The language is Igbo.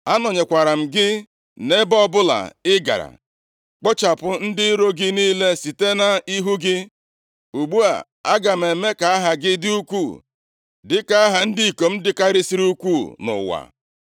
Anọnyekwara m gị nʼebe ọbụla ị gara, kpochapụ ndị iro gị niile site nʼihu gị. Ugbu a, aga m eme ka aha gị dị ukwuu, dịka aha ndị ikom dịkarịsịrị ukwuu nʼụwa.